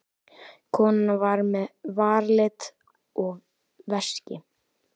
Konan var með varalit og veski.